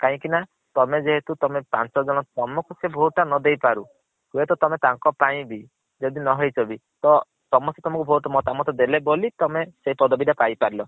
କାହିଁକି ନା ତମେ ଯେହେତୁ ତମେ ପାଂଚ ଜଣ ତମକୁ ସେ vote ଟା ନ ଦେଇ ପାରୁ ହୁଏ ତ ତମେ ତାଙ୍କ ପାଇଁ ବି ଯଦି ନ ହେଇଚ ବି ତ ସମସ୍ତେ ତମକୁ vote ମତାମତ ଦେଲେ ବୋଲି ତମେ ସେଇ ପଦବୀ ଟା ପାଇ ପାରିଲ।